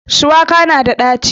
Shuwaka na da ɗaci